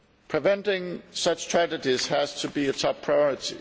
Preventing such tragedies has to be a top priority.